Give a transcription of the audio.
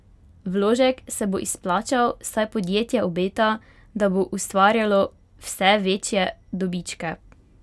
Vložek se bo izplačal, saj podjetje obeta, da bo ustvarjalo vse večje dobičke!